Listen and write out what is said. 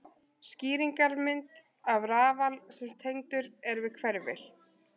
Skýringarmynd af rafal sem tengdur er við hverfil.